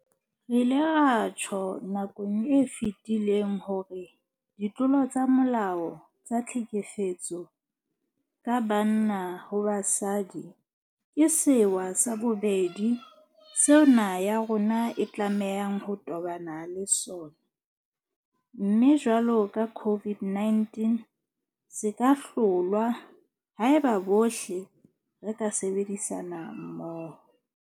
Re ile ra tjho nakong e fetileng hore ditlolo tsa molao tsa tlhekefetso ka banna ho basadi ke sewa sa bobedi seo naha ya rona e tlamehang ho tobana le sona, mme jwalo ka COVID-19 se ka hlolwa haeba bohle re ka sebedisana mmoho.